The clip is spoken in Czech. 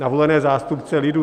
Na volené zástupce lidu!